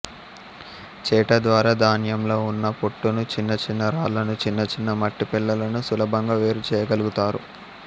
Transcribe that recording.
చేట ద్వారా ధాన్యంలో ఉన్న పొట్టును చిన్న చిన్న రాళ్ళను చిన్న చిన్న మట్టి పెళ్ళలను సులభంగా వేరు చేయగలుగుతారు